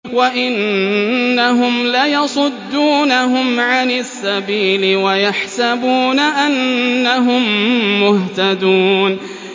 وَإِنَّهُمْ لَيَصُدُّونَهُمْ عَنِ السَّبِيلِ وَيَحْسَبُونَ أَنَّهُم مُّهْتَدُونَ